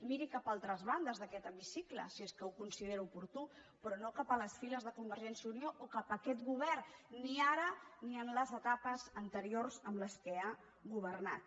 miri cap a altres bandes d’aquest hemicicle si és que ho considera oportú però no cap a les files de convergència i unió o cap aquest govern ni ara ni en les etapes anteriors en què ha governat